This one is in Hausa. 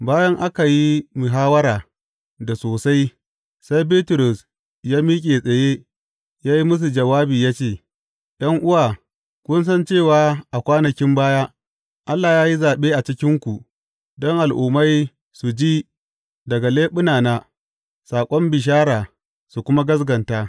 Bayan aka yi muhawwara da sosai, sai Bitrus ya miƙe tsaye ya yi musu jawabi ya ce, ’Yan’uwa, kun san cewa a kwanakin baya Allah ya yi zaɓe a cikinku don Al’ummai su ji daga leɓunana saƙon bishara su kuma gaskata.